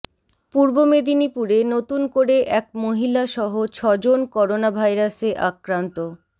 পূর্ব মেদিনীপুরে নতুন করে এক মহিলা সহ ছজন করোনা ভাইরাসে আক্রান্ত